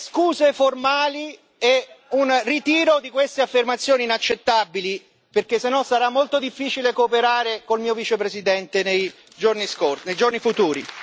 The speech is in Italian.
delle scuse formali e un ritiro di queste affermazioni inaccettabili, perché se no sarà molto difficile cooperare con il mio vicepresidente nei giorni futuri.